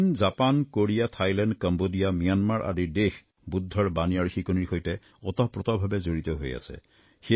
চীন Japan Korea Thailand Cambodia Myanmar আদি দেশ ভগবান বুদ্ধৰ শিকনিৰ সৈতে ওতঃপ্ৰোতঃভাৱে জড়িত হৈ আছে